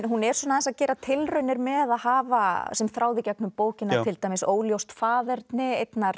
hún er aðeins að gera tilraunir með að hafa sem þráð í gegnum bókina til dæmis óljóst faðerni einnar